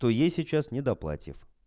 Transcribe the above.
то ей сейчас не до платьев